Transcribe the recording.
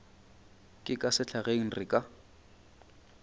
ka ka sehlageng re ka